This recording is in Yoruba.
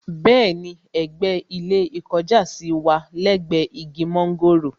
Bẹ́ẹ̀ni, ẹ̀gbẹ́ ilé ìkọjásí wà lẹ́gbẹ̀ẹ́ igi mọ́ńgòrò